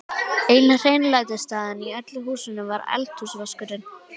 Eina hreinlætisaðstaðan í öllu húsinu var eldhúsvaskurinn.